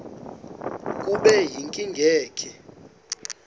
kube yinkinge ke